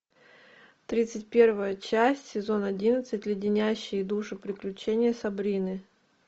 тридцать первая часть сезон одиннадцать леденящие душу приключения сабрины